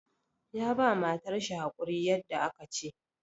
Ya ba matar shi hakuri yadda aka ce.